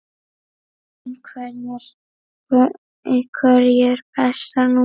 Einherji Besta númer?